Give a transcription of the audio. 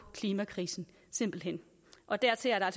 klimakrisen simpelt hen og dertil er der